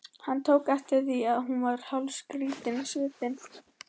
Hann tók eftir því að hún varð hálfskrýtin á svipinn.